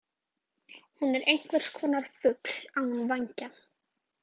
Hún er einhverskonar fugl án vængja.